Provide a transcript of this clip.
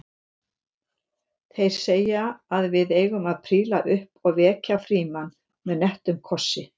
Þeir segja að við eigum að príla upp og vekja Frímann með nettum kossi